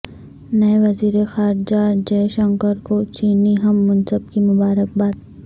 نئے وزیر خارجہ جئے شنکر کو چینی ہم منصب کی مبارکباد